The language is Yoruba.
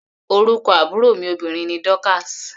Orúkọ àbúrò mi obìnrin ni Dorcas.